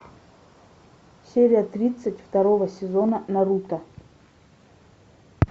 серия тридцать второго сезона наруто